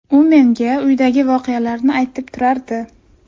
U menga uydagi voqealarni aytib turardi.